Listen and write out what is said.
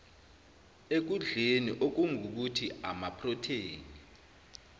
ekudleni okungukuthi amaprotheni